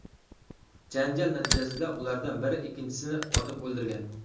Janjal natijasida ulardan biri ikkinchisini otib o‘ldirgan.